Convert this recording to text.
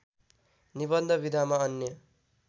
निबन्ध विधामा अन्य